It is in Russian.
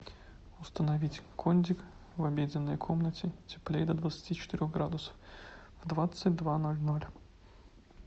установить кондик в обеденной комнате теплее до двадцати четырех градусов в двадцать два ноль ноль